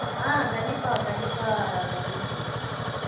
ஆஹ் கண்டிப்பா கண்டிப்பா குணப்ரியா